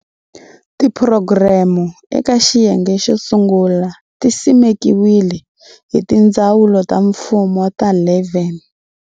Tiphurogireme eka xiyenge xo sungula ti simekiwile hi tindzawulo ta mfumo ta 11.